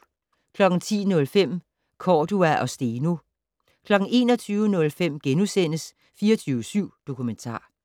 10:05: Cordua og Steno 21:05: 24syv Dokumentar *